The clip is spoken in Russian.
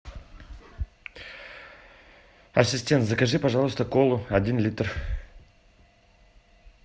ассистент закажи пожалуйста колу один литр